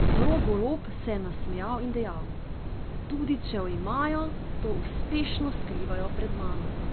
Rok Golob se je nasmejal in dejal: "Tudi če jo imajo, to uspešno skrivajo pred mano.